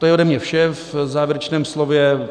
To je ode mě vše v závěrečném slově.